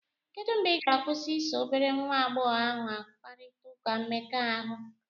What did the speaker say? Kedụ mgbe ị ga-akwụsị iso obere nwa agbọghọ ahụ kparịta ụka mmekọahụ?